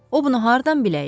O bunu hardan biləydi?